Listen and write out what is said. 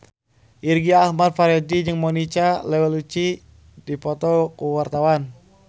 Irgi Ahmad Fahrezi jeung Monica Belluci keur dipoto ku wartawan